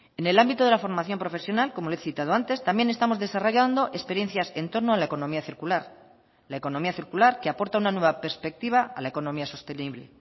en el ámbito de la formación profesional como le he citado antes también estamos desarrollando experiencias en torno a la economía circular la economía circular que aporta una nueva perspectiva a la economía sostenible